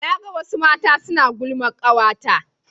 na ga wasu mata suna gulman kawata ta